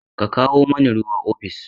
Ka kawo mani ruwan ofis!